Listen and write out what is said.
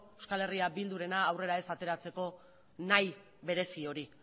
eh bildurena aurrera ez ateratzeko nahi berezi hori